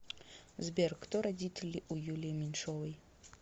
сбер кто родители у юлии меньшовои